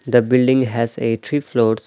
The building has a three floors.